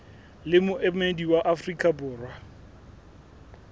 le moemedi wa afrika borwa